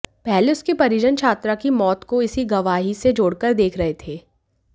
पहले उसके परिजन छात्रा की मौत को इसी गवाही से जोड़कर देख रहे थे